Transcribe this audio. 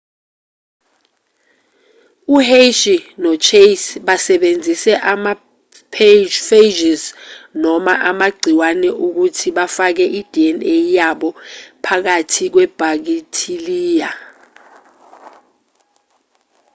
u-hershey nochase basebenzise ama-phages noma amagciwane ukuthi bafake i-dna yabo phakathi kwebhakithiliya